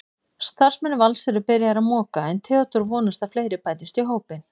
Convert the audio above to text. Starfsmenn Vals eru byrjaðir að moka en Theódór vonast að fleiri bætist í hópinn.